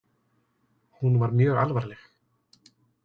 Hún var mjög alvarleg.